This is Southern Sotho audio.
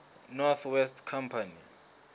north west company